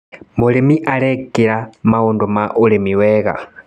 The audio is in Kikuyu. Mũrĩmi arekira maũndũ ma ũrĩmi mwega.